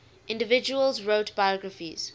individuals wrote biographies